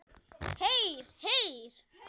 Heyr, heyr.